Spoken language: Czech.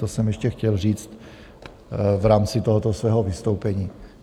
To jsem ještě chtěl říct v rámci tohoto svého vystoupení.